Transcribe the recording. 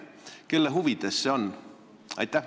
Kelle huvides see on?